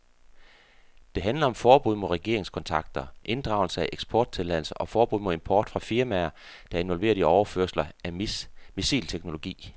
Det handler om forbud mod regeringskontakter, inddragelse af eksporttilladelser og forbud mod import fra firmaer, der er involveret i overførelser af missilteknologi.